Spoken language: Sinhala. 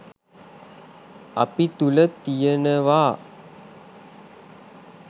අපි තුළ තියනවා.